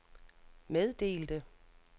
meddelte